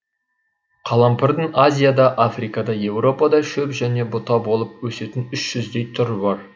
қалампырдың азияда африкада еуропада шөп және бұта болып есетін үш жүздей түрі бар